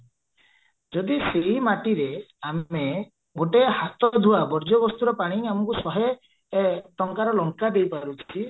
ଯଦି ସେଇ ମାଟିରେ ଆମେ ଗୋଟେ ହାତ ଧୁଆ ବର୍ଜ୍ୟ ବସ୍ତୁର ପାଣି ଆମକୁ ଶହେ ଟଙ୍କାର ଲଙ୍କା ଦେଇପାରୁଚି